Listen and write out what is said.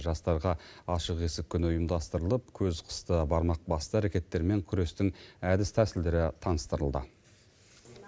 жастарға ашық есік күні ұйымдастырылып көз қысты бармақ басты әрекеттермен күрестің әдіс тәсілдері таныстырылды